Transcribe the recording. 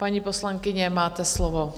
Paní poslankyně, máte slovo.